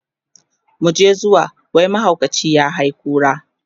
muje zuwa! mahaukaci ya hay kura